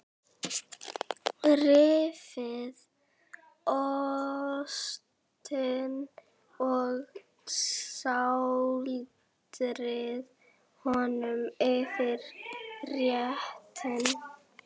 Rífið ostinn og sáldrið honum yfir réttinn.